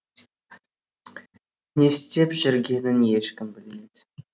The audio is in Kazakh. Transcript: не істеп жүргенін ешкім білмейді